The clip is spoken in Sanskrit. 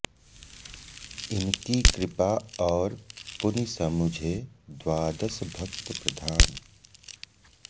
इनकी कृपा और पुनि समुझे द्वादस भक्त प्रधान